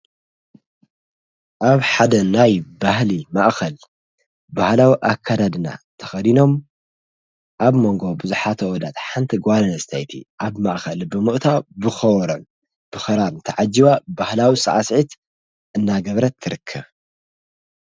ኣኣብ ሓደ ናይ ባህሊ ማእኸል ብህላዊ ኣከዳድና ተኸዲኖም ኣብ መንጎ ብዙኃተ ወዳት ሓንቲ ጓልን ስተይቲ ኣብ ማእኸል ብምቕታ ብኸወሮን ብኸራም ተዓጅዋ ባሕላዊ ሰዓስዕት እናገብረት ትርከብ።